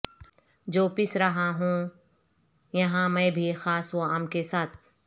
جو پس رہا ہوں یہاں میں بھی خاص و عام کے ساتھ